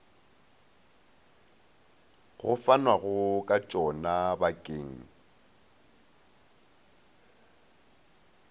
go fanwago ka tšona bakeng